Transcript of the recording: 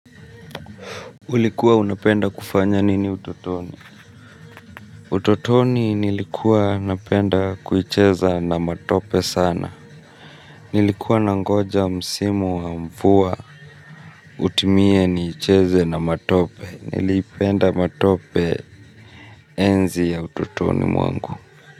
Ulikuwa unapenda kufanya nini utotoni? Utotoni nilikuwa napenda kuicheza na matope sana. Nilikuwa nangoja msimu wa mvua utimie niicheze na matope. Nilipenda matope enzi ya utotoni mwangu.